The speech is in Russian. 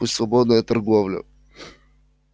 пусть свободная торговля